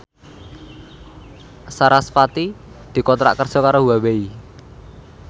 sarasvati dikontrak kerja karo Huawei